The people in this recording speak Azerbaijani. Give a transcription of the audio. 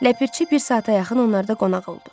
Ləpirçi bir saata yaxın onlarda qonaq oldu.